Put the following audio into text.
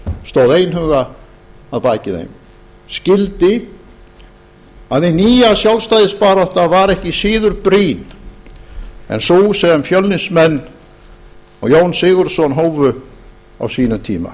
stóð einhuga að baki þeim skildi að hin nýja sjálfstæðisbarátta var ekki síður brýn en sú sem fjölnismenn og jón sigurðsson hófu á sínum tíma